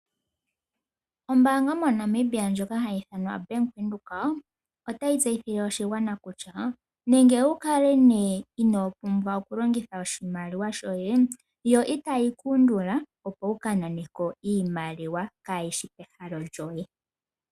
Ombaanga moNamibia ndjoka ha yi ithanwa Bank Windhoek, otayi tseyithile oshigwana kutya, nenge wu kale nee ino pumbwa oku longitha oshimaliwa shoye yo ita yi ku undula opo wu ka nane ko iimaliwa kayishi kehalo lyoye.